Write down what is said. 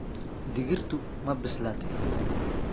Digirtu ma bislaatay?